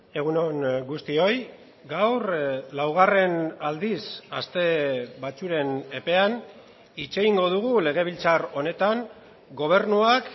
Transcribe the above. egun on guztioi gaur laugarren aldiz aste batzuen epean hitz egingo dugu legebiltzar honetan gobernuak